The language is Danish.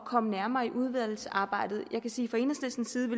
komme nærmere i udvalgsarbejdet jeg kan sige